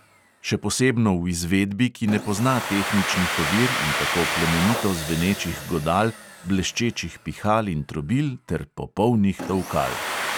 Še posebno v izvedbi, ki ne pozna tehničnih ovir in tako plemenito zvenečih godal, bleščečih pihal in trobil ter popolnih tolkal.